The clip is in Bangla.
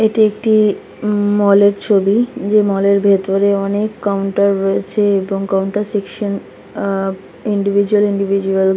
এটি একটি মমম মল এর ছবি যে মল এর ভিতরে অনেক কাউন্টার রয়েছে এবং counter section uh individual individual --